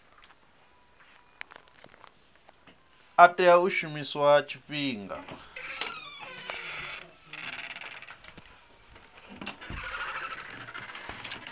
a tea u shumiswa tshifhinga